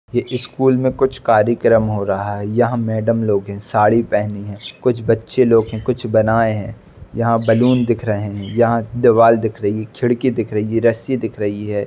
ये ए स्कूल में कुछ कार्यक्रम हो रहा है यहाँ मैडम लोग हैं साड़ी पहनी हैं। कुछ बच्चे लोग हैं कुछ बनाए हैं। यहाँ बलून दिख रहें हैं। यहाँ दीवाल दिख रही खिड़की दिख रही है रस्सी दिख रही है।